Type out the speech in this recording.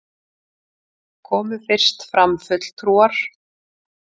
Komu fyrst fram fulltrúar